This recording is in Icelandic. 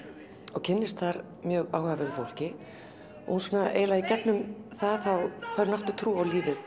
og kynnist þar mjög áhugaverðu fólki og í gegnum það fær hún aftur trú á lífið